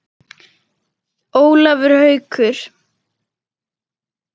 Ólafur Haukur.